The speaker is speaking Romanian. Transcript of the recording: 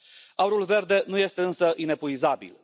Aurul verde nu este însă inepuizabil.